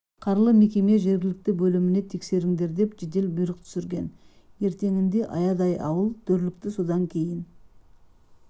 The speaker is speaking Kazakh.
қарлы мекеме жергілікті бөліміне тексеріңдер деп жедел бұйрық түсірген ертеңінде аядай ауыл дүрлікті содан кейін